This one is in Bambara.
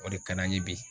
O de ka d'an ye bi